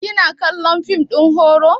Kina kallon fim na horo?